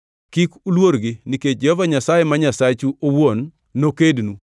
Kik uluorgi; nikech Jehova Nyasaye ma Nyasachu owuon nokednu.”